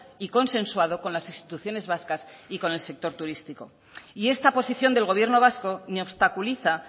y consensuado con las instituciones vascas y con el sector turístico y esta posición del gobierno vasco ni obstaculiza